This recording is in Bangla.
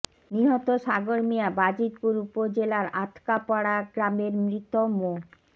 নিহত সাগর মিয়া বাজিতপুর উপজেলার আতকাপাড়া গ্রামের মৃত মো